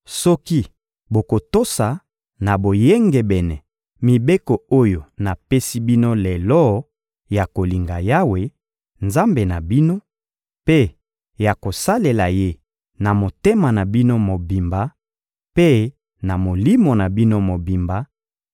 Soki bokotosa na boyengebene mibeko oyo napesi bino lelo ya kolinga Yawe, Nzambe na bino, mpe ya kosalela Ye na motema na bino mobimba mpe na molimo na bino mobimba,